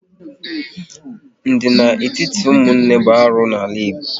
Ndina n'etiti ụmụnne bụ arụ n'ala Igbo